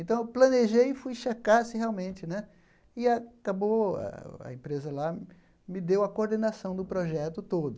Então, eu planejei e fui checar se realmente, né, e acabou, a a empresa lá me deu a coordenação do projeto todo.